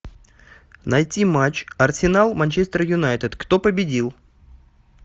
найти матч арсенал манчестер юнайтед кто победил